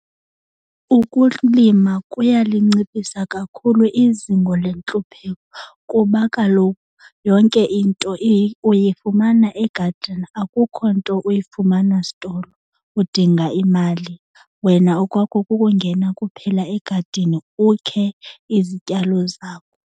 Ukulima kuyalinciphisa kakhulu izingo lentlupheko kuba kaloku yonke into uyifumana egadini akukho nto uyifumana sitolo udinga imali. Wena okwakho kukungena kuphela egadini ukhe izityalo zakho.